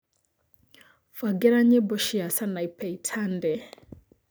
mbangĩra nyĩmbo cia Sanapei Tande